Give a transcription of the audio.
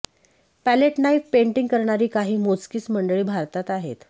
palette knife painting करणारी काही मोजकीच मंडळी भारतात आहेत